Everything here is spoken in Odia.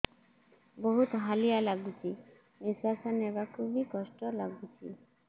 ବହୁତ୍ ହାଲିଆ ଲାଗୁଚି ନିଃଶ୍ବାସ ନେବାକୁ ଵି କଷ୍ଟ ଲାଗୁଚି